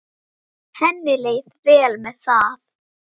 Henni leið vel með það.